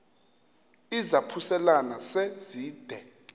izaphuselana se zide